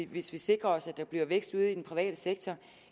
hvis vi sikrede os at der blev vækst ude i den private sektor